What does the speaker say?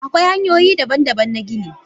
Akwai hanyoyi daban-daban na gini.